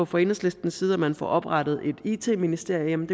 fra enhedslistens side at man får oprettet et it ministerium